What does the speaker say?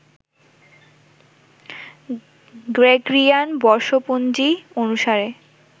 Gregorian বর্ষপঞ্জী অনুসারে